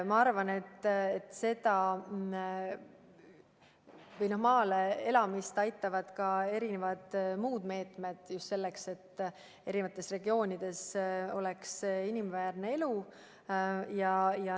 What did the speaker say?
Ma arvan, et maale elama minna aitavad ka muud meetmed, mida rakendatakse just selleks, et kõigis regioonides oleks inimväärne elu.